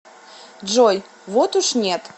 джой вот уж нет